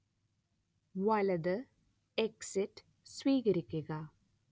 വലത് എക്സിറ്റ് സ്വീകരിക്കുക